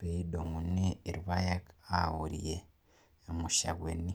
nedumuni irpaek aorie imushakwani.